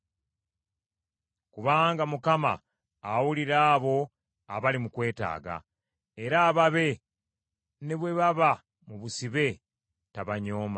Kubanga Mukama awulira abo abali mu kwetaaga, era ababe ne bwe baba mu busibe, tabanyooma.